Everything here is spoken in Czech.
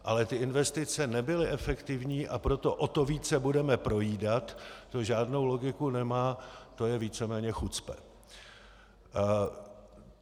Ale ty investice nebyly efektivní, a proto o to více budeme projídat, to žádnou logiku nemá, to je víceméně chucpe.